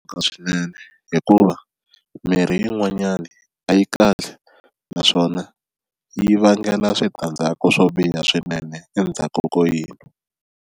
swinene hikuva mimirhi yin'wanyani a yi kahle naswona yi vangela switandzhaku swo biha swinene endzhaku ko yini.